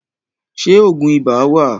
Ṣé Ògùn ibà wà?